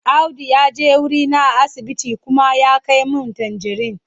Audu ya je wurina a asibiti kuma ya kai min tanjirin.